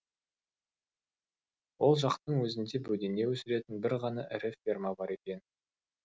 ол жақтың өзінде бөдене өсіретін бір ғана ірі ферма бар екен